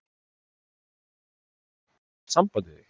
Ég var svo lengi búin að ætla að hafa samband við þig.